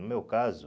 No meu caso...